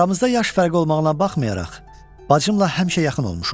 Aramızda yaş fərqi olmağına baxmayaraq bacımla həmişə yaxın olmuşuq.